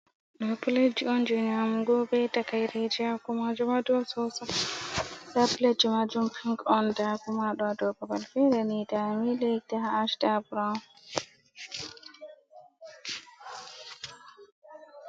Ɗo pletji on, jey nyaamugo, bee takaireeji, haa kuma haa dow soosay, ndaa pletjimaajum Pinc on, nda kuma ɗo haa dow babal feere ni, nda milik nda ash, nda brown.